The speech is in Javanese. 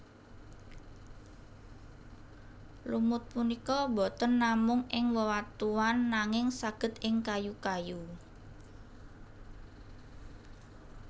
Lumut punika boten namung ing wewatuan nanging saged ing kayu kayu